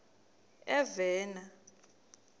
novena